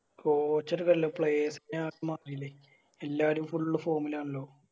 Coach ഒര് അല്ല Players നെ ഇല്ലേ എല്ലാരും Full form ൽ ആണല്ലോ